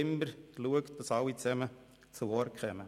Sie haben immer dafür gesorgt, dass alle zu Wort kommen.